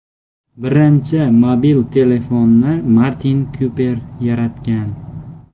Birinchi mobil telefonni Martin Kuper yaratgan.